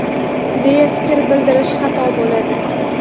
deya fikr bildirish xato bo‘ladi.